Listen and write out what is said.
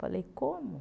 Falei, como?